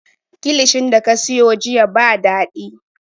Kilishin da ka siyo jiya ba daɗi